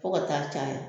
Fo ka taa caya